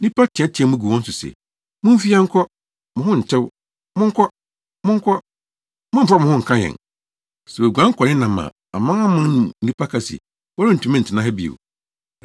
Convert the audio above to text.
Nnipa teɛteɛɛ mu gu wɔn so se, “Mumfi ha nkɔ! Mo ho ntew!” “Monkɔ, monkɔ! Mommfa mo ho nka yɛn.” Sɛ woguan kɔnenam a amanaman no mu nnipa ka se, “Wɔrentumi ntena ha bio.”